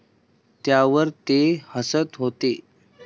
त्यावर ते हसत होते.